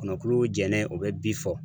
Kɔnɔkulu jɛnen o be bi fɔ